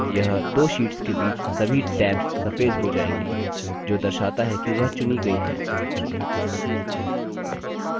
यह दो शीट्स के बीच सभी tabs सफ़ेद हो जाएंगी जो दर्शाता है कि वह चुनी गई हैं